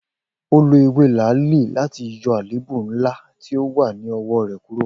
O lo ewe laali lati yọ aleebu nla ti o wa ni ọwọ rẹ kuro?